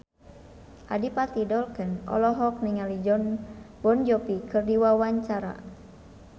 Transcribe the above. Adipati Dolken olohok ningali Jon Bon Jovi keur diwawancara